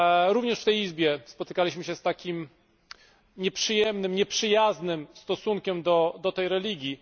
Również w tej Izbie spotykaliśmy się z takim nieprzyjemnym, nieprzyjaznym stosunkiem do tej religii.